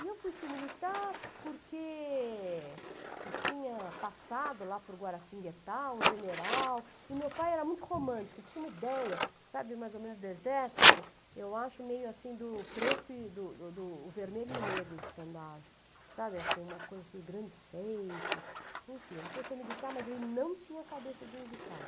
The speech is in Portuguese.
E eu fui ser militar porque eu tinha passado lá por Guaratinguetá, um general, e meu pai era muito romântico, ele tinha uma ideia, sabe, mais ou menos do exército, eu acho meio assim do preto e do do do o vermelho e o negro de estandar, sabe, uma coisa assim, grandes feitos, enfim, ele foi ser militar, mas ele não tinha cabeça de militar.